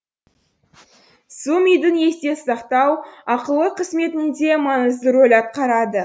су мидың есте сақтау ақыл ой қызметінде маңызды рөл атқарады